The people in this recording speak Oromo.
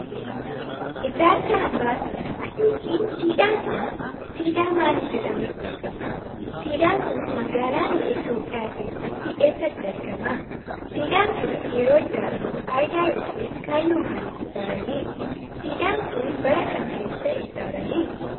Ijaarsi hambaa seenaa yokin siidaan kun, siidaa maalii jedhamuun beekama? Siidaan kun, magaalaa biyya Itoophiyaa keessaa eessatti argama? Siidaan kun, yeroo ijaaramu faayidaa yokin kaayyoo maalitiif ijaarame? Siidaan kun, bara kam keessa ijaarame?